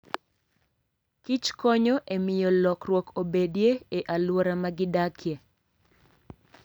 Kich konyo e miyo lokruok obedie e alwora ma gidakie.